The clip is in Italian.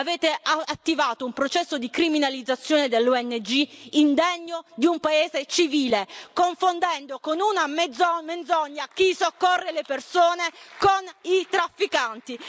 Avete attivato un processo di criminalizzazione delle ONG indegno di un paese civile, confondendo con una menzogna chi soccorre le persone con i trafficanti.